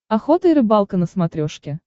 охота и рыбалка на смотрешке